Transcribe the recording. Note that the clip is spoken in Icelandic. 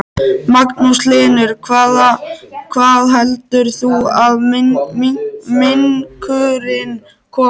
Magnús Hlynur: Hvaða heldur þú að minkurinn komi?